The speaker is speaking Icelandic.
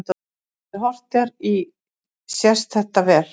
Þegar horft er í sést þetta vel.